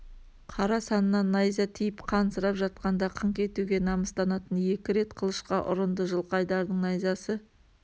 қара саннан найза тиіп қан сырап жатқанда қыңқ етуге намыстанатын екі рет қылышқа ұрынды жылқайдардың найзасы